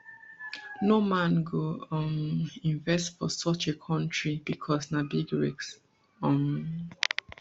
no man go um invest for such a kontri bicos na big risk um